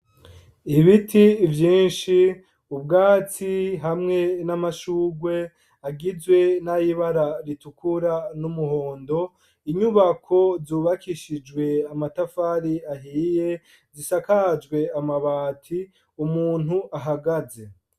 Ibiti vyinshi, ubwatsi hamwe n'amashurwe agizwe n'ayibara ritukura n'umuhondo, inyubako zubakishijwe amatafari ahiye zisakajwe amabati, umuntu ahagaze.